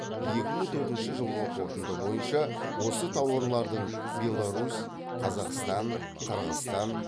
екі мың төртінші жылғы қорытынды бойынша осы тауарлардың беларусь қазақстан қырғызстан